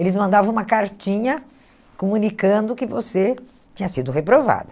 Eles mandavam uma cartinha comunicando que você tinha sido reprovada.